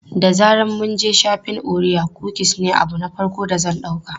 Da zaran mun je shafin, orea kukis ne abu na farko da zan ɗauka.